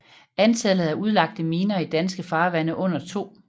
Antallet af udlagte miner i danske farvande under 2